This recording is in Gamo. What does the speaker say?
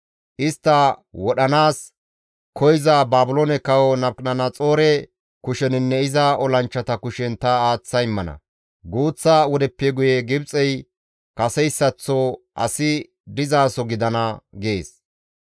Istta wodhanaas koyza Baabiloone Kawo Nabukadanaxoore kusheninne iza olanchchata kushen ta aaththa immana. Guuththa wodeppe guye Gibxey kaseyssaththo asi dizaso gidana» gees.